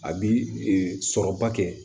A bi sɔrɔba kɛ